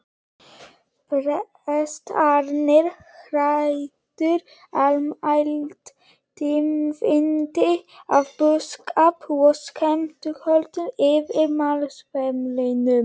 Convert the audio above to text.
Prestarnir ræddu almælt tíðindi af búskap og skepnuhöldum yfir málsverðinum.